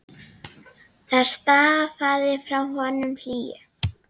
Það stafaði frá honum hlýju.